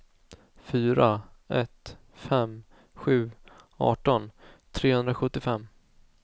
fyra ett fem sju arton trehundrasjuttiofem